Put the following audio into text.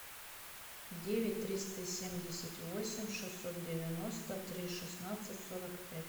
девять триста семьдесят восемь шестьсот девяносто три шестнадцать сорок пять